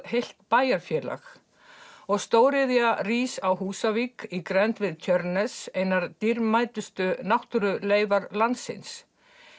heilt bæjarfélag og stóriðja rís á Húsavík í grennd við Tjörnes einar dýrmætustu landsins